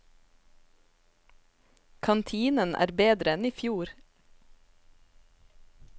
Kantinen er bedre enn i fjor.